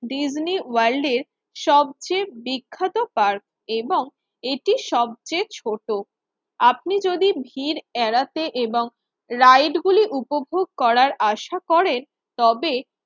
Disney ওয়ার্ল্ডের সবচেয়ে বিখ্যাত পার্ক এবং এটি সবচেয়ে ছোট। আপনি যদি ভিড় এড়াতে এবং রাইট গুলি উপভোগ করার আশা করেন, তবে